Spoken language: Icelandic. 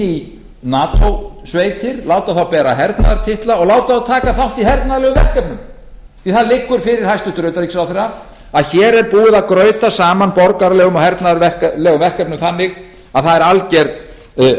í nato sveitir láta þá bera hernaðartitla og láta þá taka þátt í hernaðarlegum verkefnum því að það liggur fyrir hæstvirtan utanríkisráðherra að hér er búið að grauta saman borgaralegum og hernaðarlegum verkefnum þannig að það er